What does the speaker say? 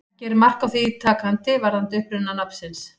Ekki er mark á því takandi varðandi uppruna nafnsins.